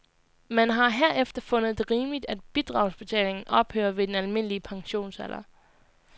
Man har herefter fundet det rimeligt, at bidragsbetalingen ophører ved den almindelige pensionsalder.